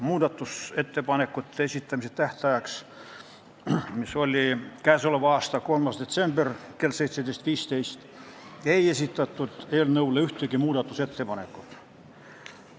Muudatusettepanekute esitamise tähtajaks, mis oli 3. detsember kell 17.15, ei esitatud ühtegi ettepanekut.